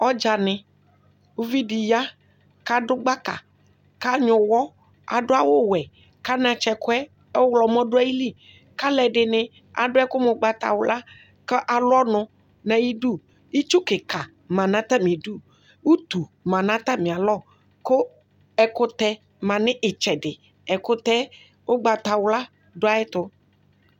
Ɔdzani ʋvidi ya kʋ adʋ gbaka kʋ anyuɛ ʋwɔ kʋ adʋ awʋwɛ kʋ anatsɛkʋe ɔwlɔmɔ dʋ ayili kʋ alʋɛdini adʋ ɛkʋ mʋ ʋgbatawla kʋ alʋ ɔnʋ nʋ ayidʋ itsu kika manʋ atami idʋ utu manʋ atami alɔ kʋ ɛkʋtɛ manʋ itsɛdi ɛkʋtɛ ʋgbatawla dʋ ayʋ ɛtʋ